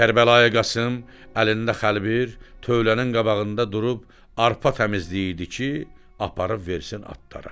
Kərbəlayı Qasım əlində xəlbir tövlənin qabağında durub arpa təmizləyirdi ki, aparıb versin atlara.